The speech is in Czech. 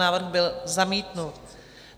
Návrh byl zamítnut.